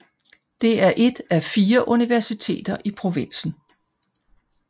Det er et af fire universiteter i provinsen